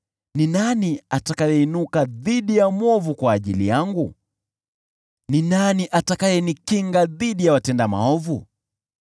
Ni nani atakayeinuka dhidi ya mwovu kwa ajili yangu? Ni nani atakayenikinga dhidi ya watenda maovu?